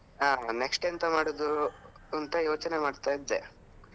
ಹಾ next ಎಂತ ಮಾಡುದು ಅಂತ ಯೋಚ್ನೆ ಮಾಡ್ತಾ ಇದ್ದೆ.